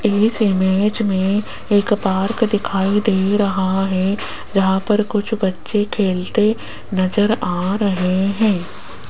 इस इमेज में एक पार्क दिखाई दे रहा है जहां पर कुछ बच्चे खेलते नजर आ रहे हैं।